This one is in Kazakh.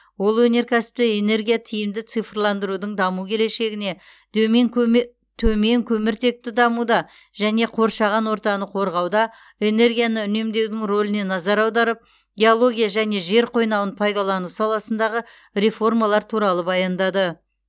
ол өнеркәсіпті энергия тиімді цифрландырудың даму келешігіне дөмен көме төмен көміртекті дамуда және қоршаған ортаны қорғауда энергияны үнемдеудің рөліне назар аударып геология және жер қойнауын пайдалану саласындағы реформалар туралы баяндады